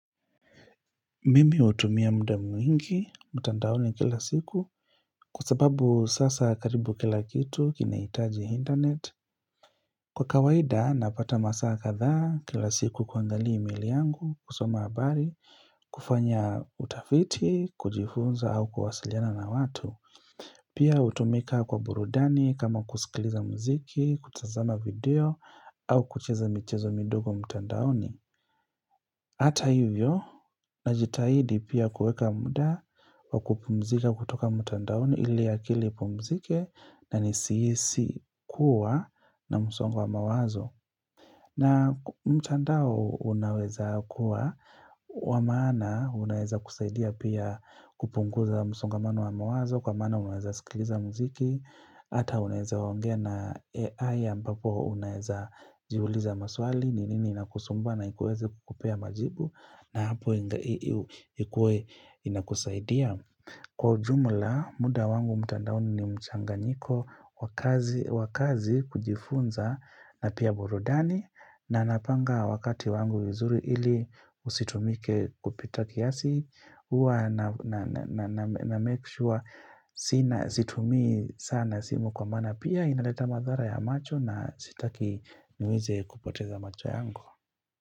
Mimi hutumia muda mwingi, mtandaoni kila siku Kwa sababu sasa karibu kila kitu kinahitaji internet Kwa kawaida napata masaa katha kila siku kuangalia emaili yangu, kusoma habari, kufanya utafiti, kujifunza au kuwasiliana na watu Pia hutumika kwa burudani kama kusikiliza mziki, kutazama video au kucheza michezo midogo mtandaoni Hata hivyo najitahidi pia kueka muda wa kupumzika kutoka mtandaoni ili akili upumzike na nisihisi kuwa na msongo wa mawazo. Na mtandao unaweza kuwa wa maana unaeza kusaidia pia kupunguza msongamano wa mawazo kwa maana unaeza skiliza muziki. Hata unaeza ongea na AI ambapo unaeza jiuliza maswali ni nini inakusumba na ikuweze kukupea majibu na hapo inakusaidia Kwa jumla muda wangu mtandaoni ni mchanganyiko wa kazi Wakaazi kujifunza na pia burudani na napanga wakati wangu vizuri ili usitumike kupita kiasi Huwa na make sure sina situmi sana simu kwa maana Pia inaleta madhara ya macho na sitaki niweze kupoteza macho yangu.